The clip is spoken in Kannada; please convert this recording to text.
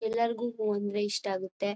ಎಲ್ಲರಿಗೂ ಹೂ ಅಂದ್ರೆ ಇಷ್ಟ ಆಗತ್ತೆ